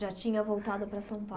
Já tinha voltado para São